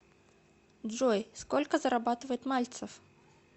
джой сколько зарабатывает мальцев